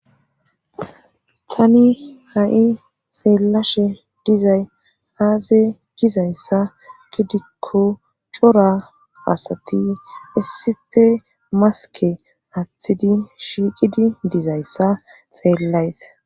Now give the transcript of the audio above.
tani ha7i seellashe dizay aase gizayssa gidikko cora asati issife maske aththidi shiiqidi dizayssa seellays